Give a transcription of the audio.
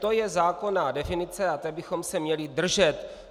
To je zákonná definice a té bychom se měli držet.